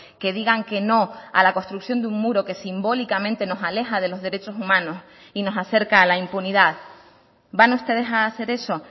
que digan que no a la construcción de un muro que simbólicamente nos aleja de los derechos humanos y nos acerca a la impunidad van ustedes a hacer eso